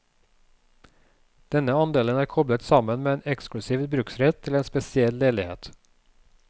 Denne andelen er koblet sammen med en eksklusiv bruksrett til en spesiell leilighet.